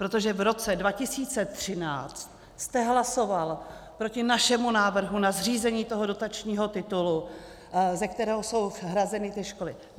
Protože v roce 2013 jste hlasoval proti našemu návrhu na zřízení toho dotačního titulu, ze kterého jsou hrazeny ty školy.